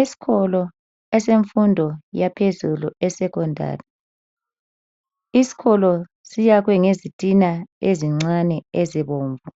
Eskolo esemfundo yaphezulu esecondary .Iskolo siyakhwe ngezitina ezincane ezibomvu